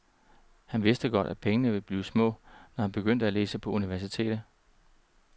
Han vidste godt, at pengene ville blive små, når han begyndte at læse på universitetet.